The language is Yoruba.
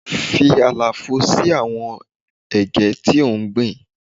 Fi àlàfo sí àwọn Ẹ̀gẹ́ tí ò ń gbìn.